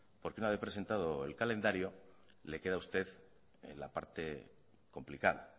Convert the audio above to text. porque una vez presentado el calendario le a queda usted la parte complicada